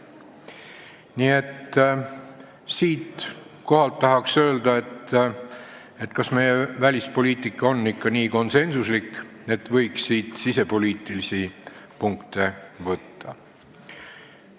Nii et siinkohal tahan küsida, kas meie välispoliitika on ikka nii konsensuslik, et siit võiks sisepoliitilisi punkte võtta.